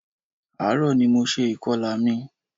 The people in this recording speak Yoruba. Ààrò ní mo ṣe ìkọlà mi.